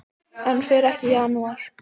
Hann fer ekki í janúar.